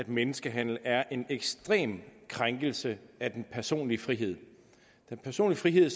menneskehandel er en ekstrem krænkelse af den personlige frihed den personlige frihed